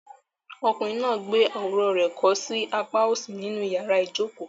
Ọkùnrin náà gbé àwòrán rẹ̀ kọ́ sí apá òsì ní inú yàrá ìjokòó.